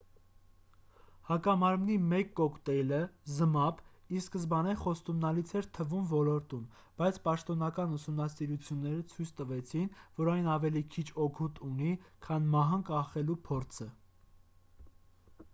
հակամարմնի մեկ կոկտեյլը զմապ ի սկզբանե խոստումնալից էր թվում ոլորտում բայց պաշտոնական ուսումնասիրությունները ցույց տվեցին որ այն ավելի քիչ օգուտ ունի քան մահը կանխելու փորձը